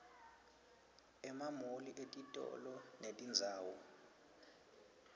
emamoli etitolo netindzawo